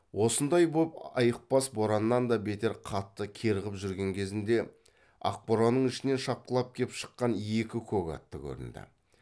осындай боп айықпас бораннан да бетер қатты кәрғып жүрген кезінде ақ боранның ішінен шапқылап кеп шыққан екі көк атты көрінді